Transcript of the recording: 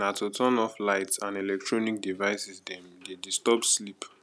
na to turn off lights and eletronic devices dem dey disturb sleep